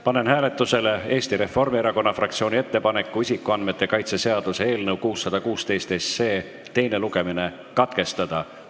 Panen hääletusele Eesti Reformierakonna fraktsiooni ettepaneku isikuandmete kaitse seaduse eelnõu 616 teine lugemine katkestada.